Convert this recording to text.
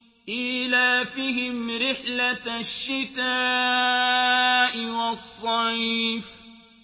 إِيلَافِهِمْ رِحْلَةَ الشِّتَاءِ وَالصَّيْفِ